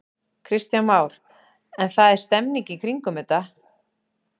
Kristján Már: En það er stemning í kringum þetta?